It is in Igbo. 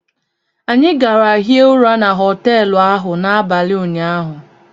Anyị gara hie ụra na họteelụ ahụ n'abalị ụnyaahụ